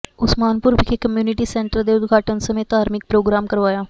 ਉਸਮਾਨਪੁਰ ਵਿਖੇ community centre ਦੇ ਉਦਘਾਟਨ ਸਮੇਂ ਧਾਰਮਿਕ ਪ੍ਰੋਗਰਾਮ ਕਰਵਾਇਆ